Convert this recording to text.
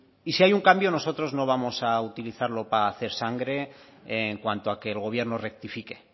y si hay un cambio nosotros no vamos a utilizarlo para hacer sangre en cuanto a que el gobierno rectifique